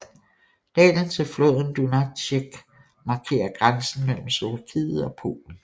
Dalen til floden Dunajec markerer grænsen mellem Slovakiet og Polen